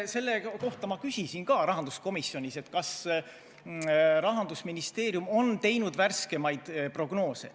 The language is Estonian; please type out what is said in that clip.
Selle kohta küsisin ma ka rahanduskomisjonis, kas Rahandusministeerium on teinud värskemaid prognoose.